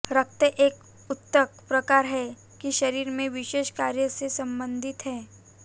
रक्त एक ऊतक प्रकार है कि शरीर में विशेष कार्य से संबंधित है